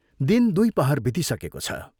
दिन दुइ पहर बितिसकेको छ।